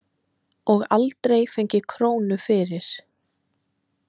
Og aldrei fengið krónu fyrir.